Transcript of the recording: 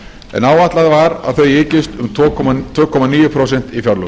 en áætlað var að þau eykst um tvö komma níu prósent í fjárlögum